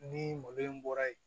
Ni mɔdɛli in bɔra yen